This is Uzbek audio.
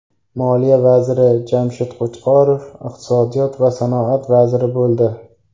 Moliya vaziri Jamshid Qo‘chqorov iqtisodiyot va sanoat vaziri bo‘ldi.